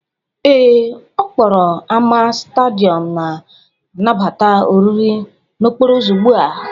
Ee, ọ kpọrọ ámá Stádịọm na-anabata oriri n'okporo ụzọ ugbu a.